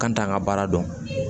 K'an t'an ka baara dɔn